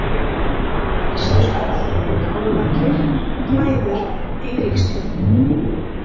Festarskörð, Kálfárgil, Glæður, Eiríkstjörn